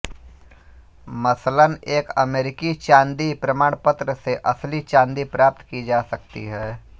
मसलन एक अमेरिकी चांदी प्रमाणपत्र से असली चांदी प्राप्त की जा सकती है